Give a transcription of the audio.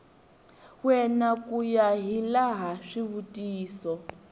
wena ku ya hilaha swivutiso